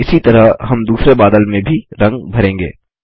इसी तरह हम दूसरे बादल में भी रंग भरेंगे